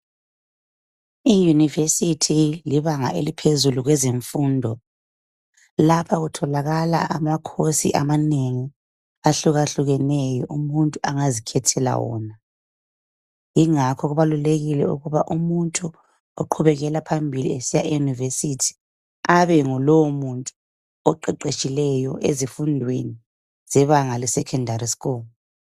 Iyunivesithi libanga eliphezulu kwezemfundo lapha kutholakala amakhosi amanengi ahlukahlukeneyo umuntu angazikhethela wona kungakho kubalulekile ukuba umuntu oqhubekela phambili esiya eyunivesithi abe ngulowo oqeqetshileyo ezifundweni zebangale secondary school